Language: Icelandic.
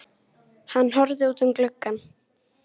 Hann horfði út um gluggann.